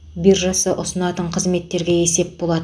биржасы ұсынатын қызметтерге есеп болады